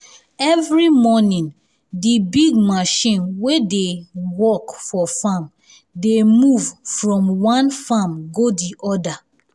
every morning de big machine wey dey wey dey work for farm um dey move from um one farm go di other